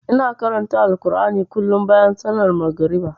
Ina karanta Alkur'ani kullum bayan sallar magariba.